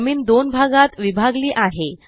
जमीन दोन भागात विभागली आहे